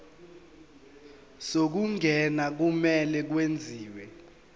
zokungena kumele kwenziwe